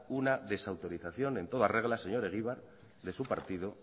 una desautorización en toda regla señor egibar de su partido